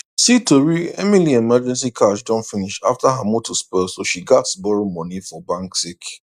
see tori emily emergency cash don finish after her motor spoil so she gats borrow money for bank sake